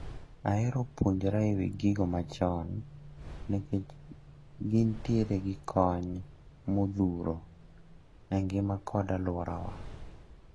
Ahero puonjra ewi gigo machon nikech gintiere gi kony modhuro e ngima kod aluorawa.